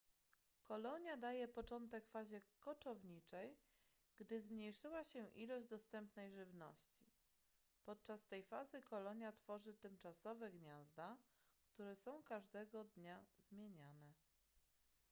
kolonia daje początek fazie koczowniczej gdy zmniejszyła się ilość dostępnej żywności podczas tej fazy kolonia tworzy tymczasowe gniazda które są każdego dnia zmieniane